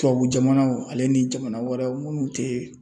Tubabu jamanaw ale ni jamana wɛrɛw minnu tɛ